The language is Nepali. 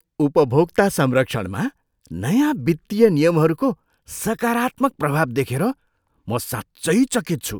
उपभोक्ता संरक्षणमा नयाँ वित्तीय नियमहरूको सकारात्मक प्रभाव देखेर म साँच्चै चकित छु।